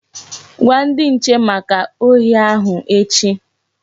Gwa ndi nche maka ohi ahụ echi!